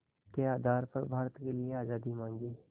के आधार पर भारत के लिए आज़ादी मांगी